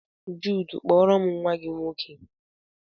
Jude, kpọọrom nwa gị nwoke!